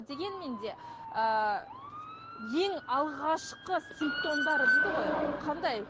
дегенмен де ы ең алғашқы симптомдары дейді ғой қандай